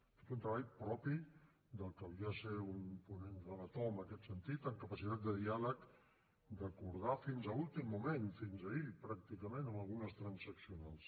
ha fet un treball propi del que havia de ser un ponent relator en aquest sentit amb capacitat de diàleg d’acordar fins a l’últim moment fins ahir pràcticament amb algunes transaccionals